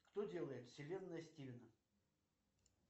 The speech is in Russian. кто делает вселенная стивена